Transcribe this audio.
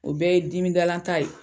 O bɛɛ ye dimi dalan ta ye.